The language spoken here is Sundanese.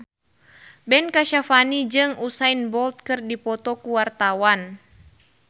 Ben Kasyafani jeung Usain Bolt keur dipoto ku wartawan